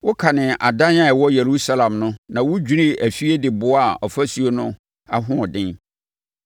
Wokanee adan a ɛwɔ Yerusalem no na wodwirii afie de boaa ɔfasuo no ahoɔden.